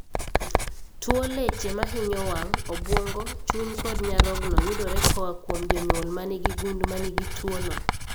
Tuo leche mahinyo wang', obwongo, chuny kod nyarogno yudore koa kuom jonyuol manigi gund manigi tuo no